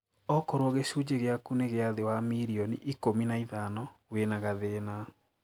Okorwo gicunje giaku ni gia thii wa mirioni ikũmi na ithano, wina gathina